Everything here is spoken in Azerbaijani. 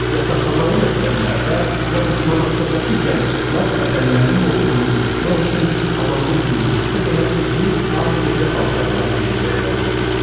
Yataqxanılı məktəblərdə, yaxud monastırdakı gənc qızlar bədənlərinin olduğunu unutmaq üçün hamamda yuyunduqda belə uzun, ağ gecə paltarları geyinməyə məcbur idilər.